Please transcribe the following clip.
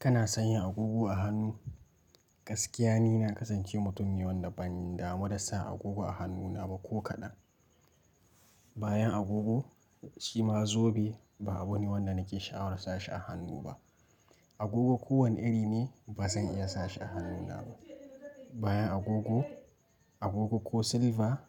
Kana sanya agogo a hannu? Gaskiya ni na kasance mutum ne wanda ban damu da sa agogo a hannuna ba ko kaɗan. Bayan agogo shi ma zobe ba abu ne wanda nake sha'awar sashi a hannu ba. Agogo ko wane iri ne ba zan iya sashi a hannuna ba. Bayan agogo, agogo ko silva